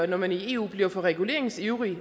når man i eu bliver for reguleringsivrig